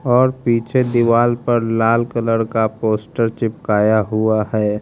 और पीछे दीवार पर लाल कलर का पोस्टर चिपकाया हुआ है।